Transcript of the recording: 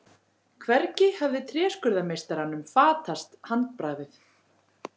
Hvergi hafði tréskurðarmeistaranum fatast handbragðið.